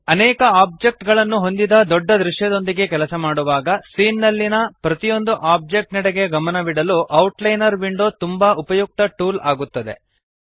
ಅನೇಕ ಆಬ್ಜೆಕ್ಟ್ ಗಳನ್ನು ಹೊಂದಿದ ದೊಡ್ಡ ದೃಶ್ಯದೊಂದಿಗೆ ಕೆಲಸ ಮಾಡುವಾಗ ಸೀನ್ ನಲ್ಲಿಯ ಪ್ರತಿಯೊಂದು ಆಬ್ಜೆಕ್ಟ್ ನೆಡೆಗೆ ಗಮನವಿಡಲು ಔಟ್ಲೈನರ್ ವಿಂಡೋ ತುಂಬಾ ಉಪಯುಕ್ತ ಟೂಲ್ ಆಗುತ್ತದೆ